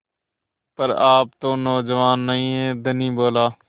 पर आप तो नौजवान नहीं हैं धनी बोला